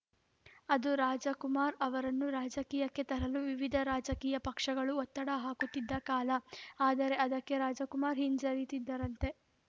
ಅದು ರಾಜಕುಮಾರ್‌ ಅವರನ್ನು ರಾಜಕೀಯಕ್ಕೆ ತರಲು ವಿವಿಧ ರಾಜಕೀಯ ಪಕ್ಷಗಳು ಒತ್ತಡ ಹಾಕುತ್ತಿದ್ದ ಕಾಲ ಆದರೆ ಅದಕ್ಕೆ ರಾಜಕುಮಾರ್‌ ಹಿಂಜರಿದಿದ್ದರಂತೆ